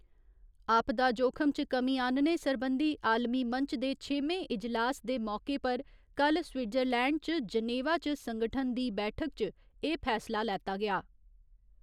आपदा जोखम च कमी आह्‌न्ने सरबंधी आलमी मंच दे छेमें इजलास दे मौके पर कल्ल स्विट्जरलैंड च जनेवा च संगठन दी बैठक च एह् फैसला लैता गेआ।